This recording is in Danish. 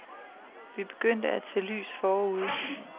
Vi er begyndt at se lys forude.